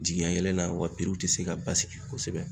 Jigi ka yɛlɛla, wa te se ka basigi kɔsɛbɛ.